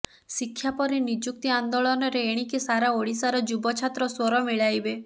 ଶିକ୍ଷା ପରେ ନିଯୁକ୍ତି ଆନ୍ଦୋଳନରେ ଏଣିକି ସାରା ଓଡିଶାର ଯୁବ ଛାତ୍ର ସ୍ୱର ମିଳାଇବେ